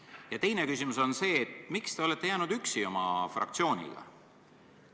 Ja teine küsimus on see: miks te olete jäänud oma fraktsiooniga üksi?